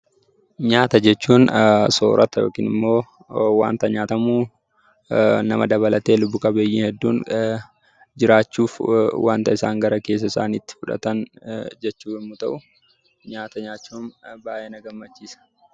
Nyaata jechuun soorata yookiin immoo wanta nyaatamu nama dabalatee lubbu qabeeyyii dabalatee lubbu qabeeyyiin hedduun jiraachuuf wanta isaan gara keessa isaaniitti fudhatan jechuu yommuu ta'u, nyaata nyaachuun baay'ee na gammachiisa.